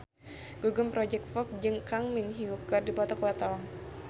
Gugum Project Pop jeung Kang Min Hyuk keur dipoto ku wartawan